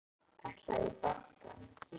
Ætlarðu í bankann?